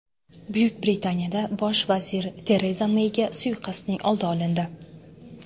Buyuk Britaniyada bosh vazir Tereza Meyga suiqasdning oldi olindi.